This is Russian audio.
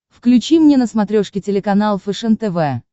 включи мне на смотрешке телеканал фэшен тв